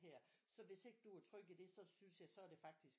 Her så hvis ikke du er tryg i det så synes jeg så er det faktisk